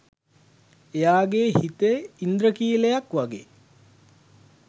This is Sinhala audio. එයාගේ හිතේ ඉන්ද්‍රඛීලයක් වගේ